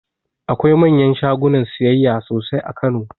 Akwai manyan shagunan siyayya sosai a kano